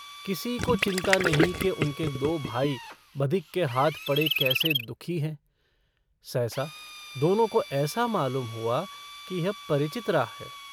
किसी को चिन्ता नहीं कि उनके दो भाई बधिक के हाथ पड़े कैसे दुःखी हैं सहसा दोनों को ऐसा मालूम हुआ कि यह परिचित राह है।